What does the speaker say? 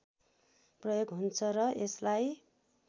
प्रयोग हुन्छ र यसलाई